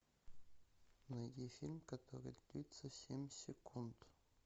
найди фильм который длится семь секунд